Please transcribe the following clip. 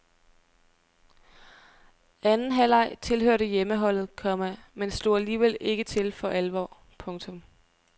Anden halvleg tilhørte hjemmeholdet, komma men slog alligevel ikke til for alvor. punktum